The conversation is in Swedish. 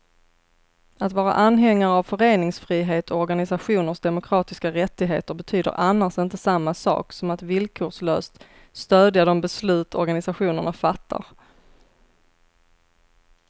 Att vara anhängare av föreningsfrihet och organisationers demokratiska rättigheter betyder annars inte samma sak som att villkorslöst stödja de beslut organisationerna fattar.